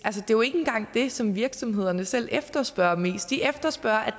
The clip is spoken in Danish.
jo ikke engang det som virksomhederne selv efterspørger mest de efterspørger at